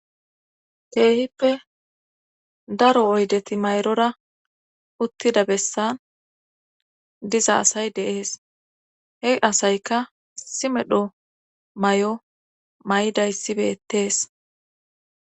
teehippe daro oydeti mayrora uttida bessan diza asay deees he asayka simedho may7o may7dayssibettees